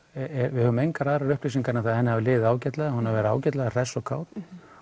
við höfum engar aðrar upplýsingar en að henni hafi liðið ágætlega hún hafi verið ágætlega hress og kát